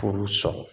Furu sɔrɔ